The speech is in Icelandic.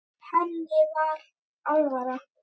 Henni var alvara.